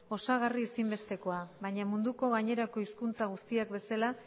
osagarri ezinbestekoa baina munduko gainerako hizkuntza guztiek bezala